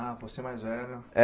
Ah, você mais velho? É